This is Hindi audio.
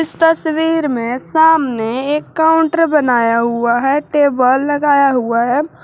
तस्वीर में सामने एक काउंटर बनाया हुआ है टेबल लगाया हुआ है।